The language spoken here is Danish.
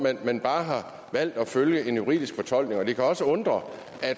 at man bare har valgt at følge en juridisk fortolkning det kan også undre